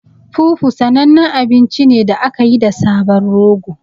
Fufu sanannen abinci ne da aka yi da sabon rogo.